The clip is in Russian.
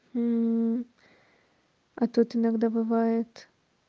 а тут иногда бывает